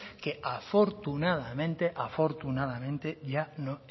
que afortunadamente ya no